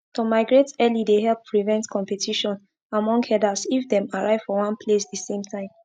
to migrate early dey help prevent competition among herders if them arrive for one place the same time